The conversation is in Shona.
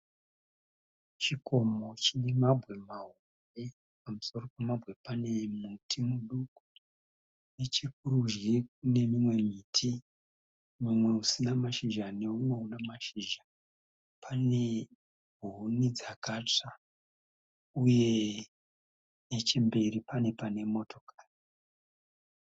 Chikomo chine mabwe mahombe, pamusoro pemabwe pane muti muduku, nechekurudyi kune mimwe miti mumwe usina mashizha neumwe una mashizha. Pane huni dzakatsva uye nechemberi pane pane motokari.